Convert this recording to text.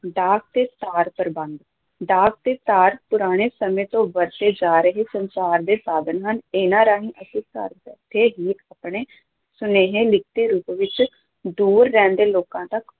ਡਾਕ ਤੇ ਤਾਰ ਪ੍ਰਬੰਧ, ਡਾਕ ਤੇ ਤਾਰ ਪੁਰਾਣੇ ਸਮੇਂ ਤੋਂ ਵਰਤੇ ਜਾ ਰਹੇ ਸੰਚਾਰ ਦੇ ਸਾਧਨ ਹਨ, ਇਹਨਾਂ ਰਾਹੀਂ ਅਸੀਂ ਘਰ ਬੈਠੇ ਹੀ ਆਪਣਾ ਸੁਨੇਹਾ ਲਿਖਤੀ ਰੂਪ ਵਿੱਚ ਦੂਰ ਰਹਿੰਦੇ ਲੋਕਾਂ ਤੱਕ